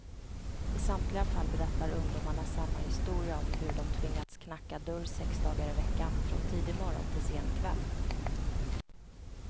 I samtliga fall berättar ungdomarna samma historia om hur de tvingats knacka dörr sex dagar i veckan, från tidig morgon till sen kväll.